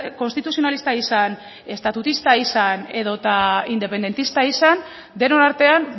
konstituzionalista izan estatutista izan edota independentista izan denon artean